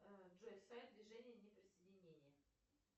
джой сайт движения неприсоединения